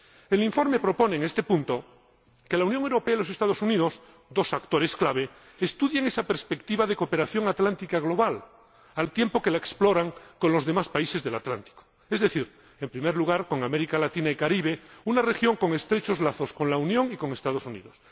El informe propone en este punto que la Unión Europea y los Estados Unidos —dos actores clave— estudien esa perspectiva de cooperación atlántica global, al tiempo que la exploran con los demás países del Atlántico, es decir, en primer lugar con América Latina y Caribe, una región con estrechos lazos con la Unión y con los Estados Unidos